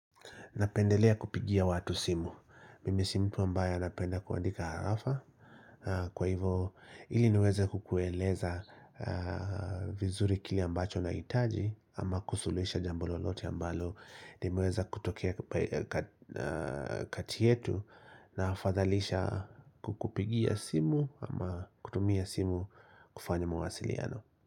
Napendelea kupigia watu simu. Mimi si mtu ambaye anapenda kuandika harafa. Kwa hivyo ili niweze kukueleza vizuri kile ambacho nahitaji ama kusuluhisha jambo lolote ambalo limeweza kutoke kati yetu na afadhalisha kukupigia simu ama kutumia simu kufanya mawasiliano.